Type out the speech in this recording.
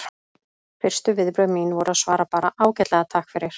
Fyrstu viðbrögð mín voru að svara bara: Ágætlega, takk fyrir